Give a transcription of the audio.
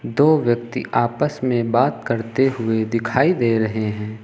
दो व्यक्ति आपस में बात करते हुए दिखाई दे रहे हैं।